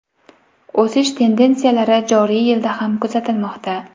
O‘sish tendensiyalari joriy yilda ham kuzatilmoqda.